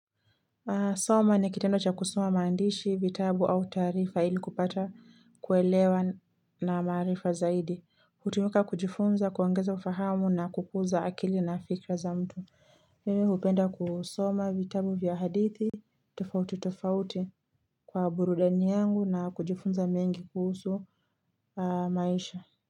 Soma ni kitendo cha kusoma maandishi, vitabu au taarifa ili kupata kuelewa na maarifa zaidi. Hutumika kujifunza, kuongeza ufahamu na kukuza akili na fikra za mtu. Mimi hupenda kusoma vitabu vya hadithi, tofauti tofauti kwa burudani yangu na kujifunza mengi kuhusu maisha.